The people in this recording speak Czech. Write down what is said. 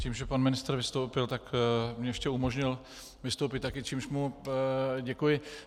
Tím, že pan ministr vystoupil, tak mi ještě umožnil vystoupit také, čímž mu děkuji.